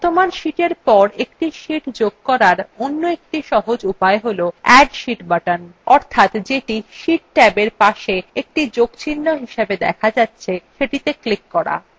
বর্তমান sheetএর পর একটি sheet যোগ করার অন্য একটি সহজ উপায় হল add sheet button অর্থাৎ যেটি sheet ট্যাবএর পাশের একটি যোগচিহ্ন হিসাবে দেখা যাচ্ছে সেটিতে ক্লিক করা